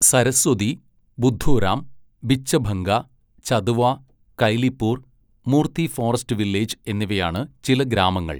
Saraswati, Budhuram, Bichhabhanga, Chatua, Kailipur, Murti forest village എന്നിവയാണ് ചില ഗ്രാമങ്ങൾ.